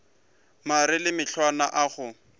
mare le mahlwana a go